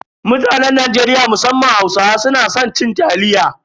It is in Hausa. Mutanen Najeriya musamman Hausawa suna san cin taliya.